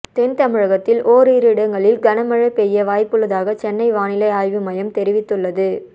தென் தமிழகத்தில் ஓரிரு இடங்களில் கனமழை பெய்ய வாய்ப்புள்ளதாக சென்னை வானிலை ஆய்வு மையம் தெரிவித்துள்ளது